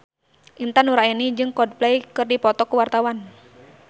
Intan Nuraini jeung Coldplay keur dipoto ku wartawan